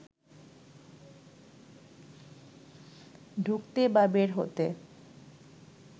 ঢুকতে বা বের হতে